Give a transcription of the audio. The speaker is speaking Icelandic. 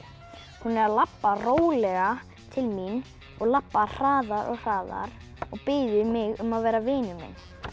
hún er að labba rólega til mín og labbar hraðar og hraðar og biður mig um að vera vinur minn